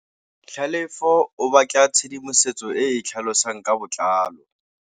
Tlhalefô o batla tshedimosetsô e e tlhalosang ka botlalô.